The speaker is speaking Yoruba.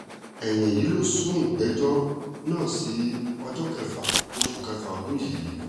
ẹ̀yìn èyí ló sún ìgbẹ́jọ́ náà sí ọjọ́ kẹfà oṣù kẹfà ọdún yìí